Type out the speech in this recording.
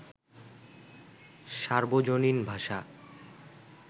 সার্বজনীন ভাষা